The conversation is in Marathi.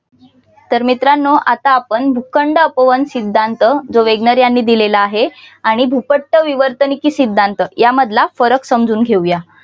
तर मित्रांनो आता आपण भूखंड अपवहन सिद्धांत जो वेगनर यांनी दिलेला आहे आणि भूपट्ट विवर्तनकी सिद्धांत यामधला फरक समजून घेऊया.